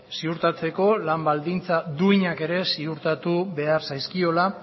ziurtatzeko lan baldintza duinak ere ziurtatu behar zaizkiola